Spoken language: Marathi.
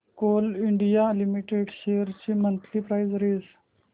कोल इंडिया लिमिटेड शेअर्स ची मंथली प्राइस रेंज